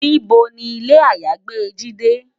Nibó ni ilé àyágbé Jidé?